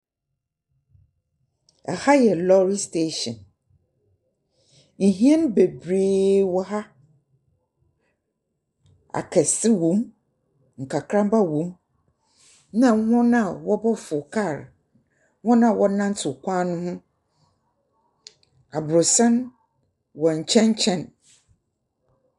Ɛha yɛ lɔɔre sitehyin. Ɛhyɛn bebree wɔ ha, akɛse wɔm nkakrama na wɔn a ɔrekɔfo kaa, wɔn a wɔ nantew kwan no ho. Aborosan wɔ nkyɛn kyɛn.